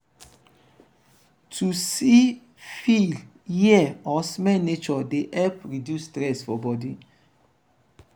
to see feel hear or smell nature de help reduce stress for body